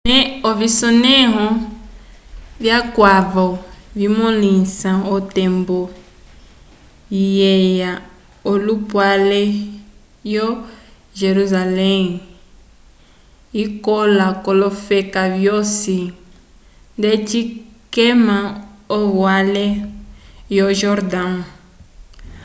ovisonẽho vikwavo vimõlisa otembo ikeya yolupale wo-jerusalém ikola k'olofeka vyosi ndeci kema yovale yo-jordão